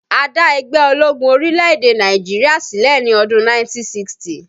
A dá ẹgbẹ́ ológun orílẹ̀-èdè Nàìjíríà sílẹ̀ ní ọdún 1960